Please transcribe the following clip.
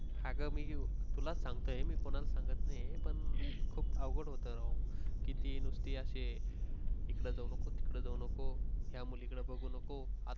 अग मी तुलास सांगते मी कोणाला सांगत नहीं हे. पण खूप अवघड होत राव, तिची नुसती अशी इकडे जाऊ नको ह्या मुली कडे बघू नको आता